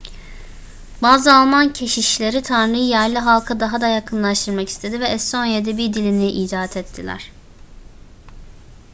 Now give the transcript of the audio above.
bazı alman keşişleri tanrı'yı yerli halka daha da yakınlaştırmak istedi ve estonya edebi dilini icat ettiler